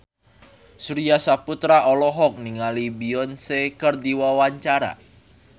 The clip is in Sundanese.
Surya Saputra olohok ningali Beyonce keur diwawancara